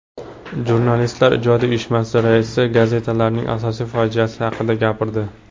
Jurnalistlar ijodiy uyushmasi raisi gazetalarning asosiy fojiasi haqida gapirdi.